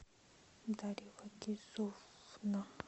дарья вагизовна